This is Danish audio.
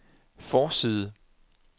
forside